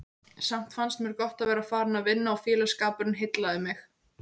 Samt fannst mér gott að vera farin að vinna og félagsskapurinn heillaði mig.